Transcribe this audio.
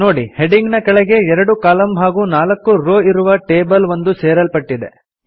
ನೋಡಿ ಹೆಡಿಂಗ್ ನ ಕೆಳಗೆ ಎರಡು ಕಾಲಮ್ ಹಾಗೂ ನಾಲ್ಕು ರೋ ಇರುವ ಟೇಬಲ್ ಒಂದು ಸೇರಲ್ಪಟ್ಟಿದೆ